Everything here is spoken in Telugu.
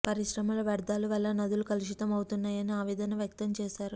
పరిశ్రమల వ్యర్థాలు వల్ల నదుల కులుషితం అవుతున్నాయని ఆవేదన వ్యక్తం చేశారు